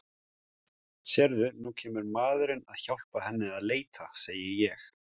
Sérðu, nú kemur maðurinn að hjálpa henni að leita, segi ég.